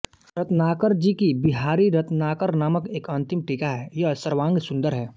रत्नाकर जी की बिहारी रत्नाकर नामक एक अंतिम टीका है यह सर्वांग सुंदर है